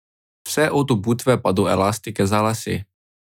Vse od obutve pa do elastike za lase.